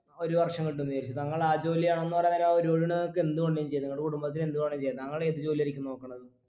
ഒരു വർഷം കിട്ടുന്ന് വിചാരിക്ക് താങ്കൾ ആ ജോലി ആണെന്ന് പറയാനേരം ആ ഒരു കോടിയോണ്ട് നിങ്ങക്ക് എന്ത് വേണ്ടിയും ചെയ്യാ നിങ്ങടെ കുടുംബത്തിന് എന്ത് വേണേലു ചെയ്യാ താങ്കള് ഏത് ജോലിയായിരിക്കും നോക്കണത്